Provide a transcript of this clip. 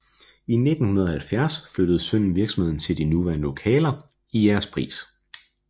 I 1970 flyttede sønnen virksomheden til de nuværende lokaler i Jægerspris